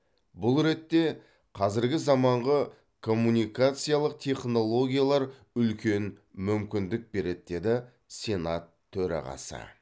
бұл ретте қазіргі заманғы коммункациялық технологиялар үлкен мүмкіндік береді деді сенат төрағасы